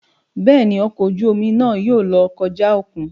Béèni, ọkọ oju omi náà yóò lọ kọja okùn